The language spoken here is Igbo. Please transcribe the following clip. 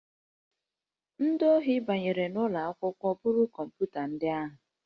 Ndị ohi banyere n'ụlọ akwụkwọ buru kọmputa ndị ahụ